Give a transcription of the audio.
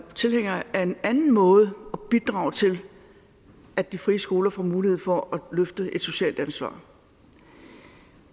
tilhænger af en anden måde at bidrage til at de frie skoler får mulighed for at løfte et socialt ansvar